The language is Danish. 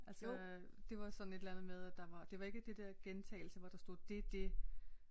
Altså det var sådan et eller andet med at der var det var ikke det dér gentagelse hvor der stod det det